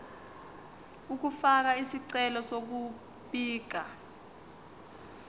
ukufaka isicelo sokubika